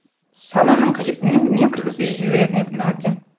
сананың қажеті мен кіргізбей жіберетін едім әбден